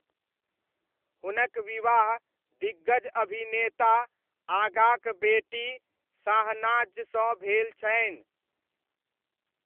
हुनक विवाह दिग्गज अभिनेता आगाक बेटी शाहनाजसँ भेल छनि।